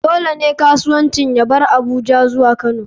Dole ne kasuwancin ya bar Abuja zuwa kano.